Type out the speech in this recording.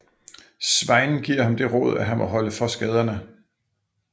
Sveinn giver ham det råd at han må holde for skaderne